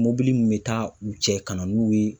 Mobili min bɛ taa u cɛ ka na n'u ye.